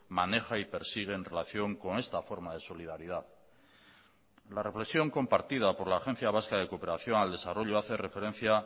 maneja y persigue en relación con esta forma de solidaridad la reflexión compartida por la agencia vasca de cooperación al desarrollo hace referencia